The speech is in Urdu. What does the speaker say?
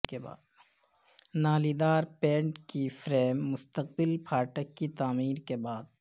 نالیدار پینٹ کی فریم مستقبل پھاٹک کی تعمیر کے بعد